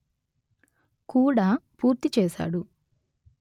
కూడా పూర్తి చేశాడు